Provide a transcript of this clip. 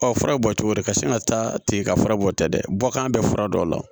Ɔ fura bɔ cogo de ka sin ka taa ten ka fura bɔ ta dɛ bɔkan bɛ fura dɔ la